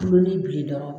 Kulon ni bilen dɔrɔn